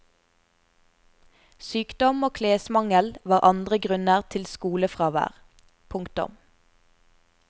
Sykdom og klesmangel var andre grunner til skolefravær. punktum